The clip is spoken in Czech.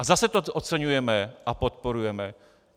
A zase to oceňujeme a podporujeme.